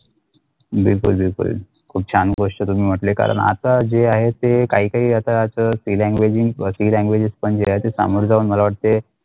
बिलकुल बिलकुल खूप छान गोष्ट तुम्ही म्हटले कारण आता जे आहे ते क्या क्या आता ते Free languages Free languages पण अशे सामोर जाऊन मला वाटते.